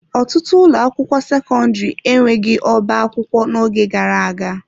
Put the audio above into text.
Ọtụtụ ụlọ akwụkwọ sekọndrị enweghị ọbá akwụkwọ n'oge gara aga.